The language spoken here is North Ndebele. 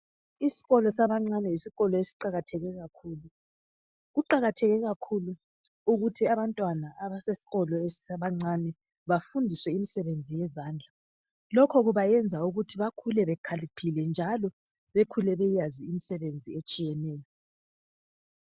Isikolo sabancane yisikolo esiqakathekileyo kakhulu. Kuqakatheke kakhulu ukuthi abantwana abasesikolo sabancane bafundiswe imisebenzi yezandla. Lokhu kubayenza ukuthi bakhule bekhaliphile njalo bakhule beyazi imisebenzi etshiyeneyo.